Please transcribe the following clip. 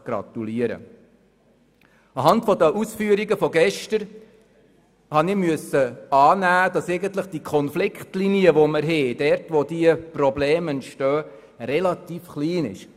Nach den gestrigen Ausführungen habe ich annehmen müssen, dass die bestehende Konfliktlinie, wo die Probleme entstehen, relativ klein ist.